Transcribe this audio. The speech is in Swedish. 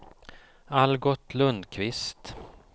Algot Lundquist